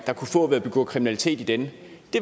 kunne få at begå kriminalitet i den